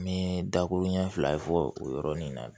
N bɛ dakuru ɲɛ fila fɔ o yɔrɔnin na